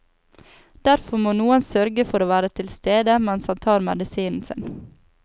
Derfor må noen sørge for å være tilstede mens han tar medisinen sin.